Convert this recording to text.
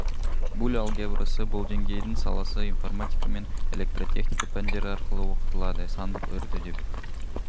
буль алгебрасы бұл деңгейдің саласы информатика мен электротехника пәндері арқылы оқытылады сандық үрді деп